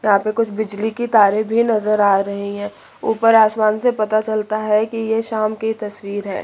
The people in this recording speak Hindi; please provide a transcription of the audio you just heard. यहां पर कुछ बिजली की तारे भी नजर आ रही है ऊपर आसमान से पता चलता है कि यह शाम की तस्वीर है।